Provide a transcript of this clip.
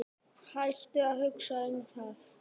Hættu að hugsa um það.